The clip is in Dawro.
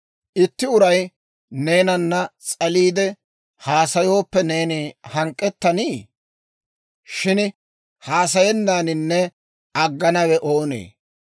«Itti uray neenanna s'aliide haasayooppe, neeni hank'k'ettanii? Shin haasayennaaninne agganawe oonee?